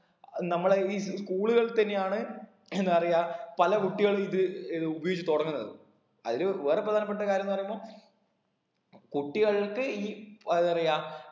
അഹ് നമ്മടെ ഈ school കൾ തന്നെയാണ് എന്താ പറയാ പല കുട്ടികളും ഇത് ഏത് ഉപയോഗിച്ച് തുടങ്ങുന്നത് അതിന് വേറെ പ്രധാനപ്പെട്ട കാര്യംന്ന് പറയുമ്പോ കുട്ടികൾക്ക് ഈ ഉം ഏതാ പറയാ